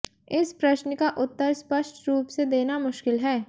इस प्रश्न का उत्तर स्पष्ट रूप से देना मुश्किल है